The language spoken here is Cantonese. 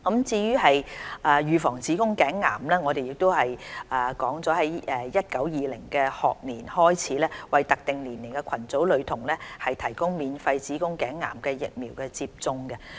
為預防子宮頸癌，我們將於 2019-2020 學年開始為特定年齡組群女學童提供免費子宮頸癌疫苗接種。